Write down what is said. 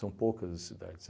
poucas cidades.